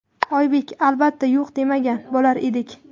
Oybek: Albatta, yo‘q demagan bo‘lar edik.